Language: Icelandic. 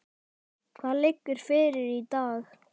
Hvað liggur fyrir í dag?